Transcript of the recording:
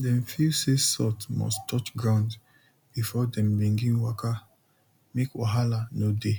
dem feel say salt must touch ground before dem begin waka make wahala no dey